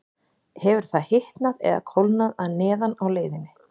Hefur það hitnað eða kólnað að neðan á leiðinni?